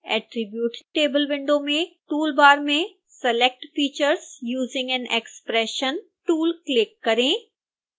attribute table window में toolbar में select features using an expression tool click करें